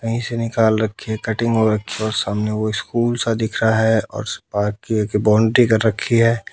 कहीं से निकाल रखी है कटिंग हो रखी है और सामने वो स्कूल सा दिख रहा है और उसकी बाहर की बोंड्री कर रखी है।